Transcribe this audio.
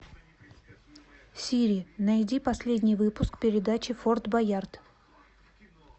сири найди последний выпуск передачи форд боярд